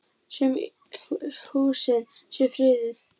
Sum húsin séu friðuð.